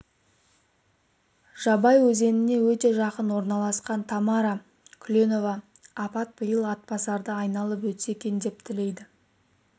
жабай өзеніне өте жақын орналасқан тамара кулева апат биыл атбасарды айналып өтсе екен деп тілейді